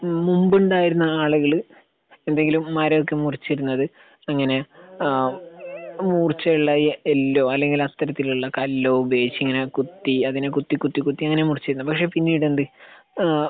ഹ്മ് മുമ്പുണ്ടായിരുന്ന ആളുകൾ എന്തെങ്കിലും മരം ഒക്കെ മുറിച്ചിരുന്നത് എങ്ങനെയാ ആഹ് മുറിച്ച് എല്ലാം ഈ എല്ലോ അല്ലെങ്കിൽ അത്തരത്തിലുള്ള ഒരു കല്ലോ ഉപയോഗിച്ച് ഇങ്ങനെ കുത്തി അതിനെ കുത്തി കുത്തി കുത്തി അങ്ങനെ മുറിച്ചേര്ന്നേ പക്ഷെ പിന്നീട് എന്ത് ഏഹ്